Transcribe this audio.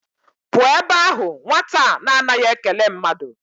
Pụọ ebe ahụ nwata a na a naghị ekele mmadụ!